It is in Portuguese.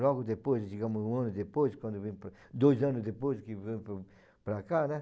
Logo depois, digamos, um ano depois, quando eu vim para, dois anos depois que eu vim para para cá, né?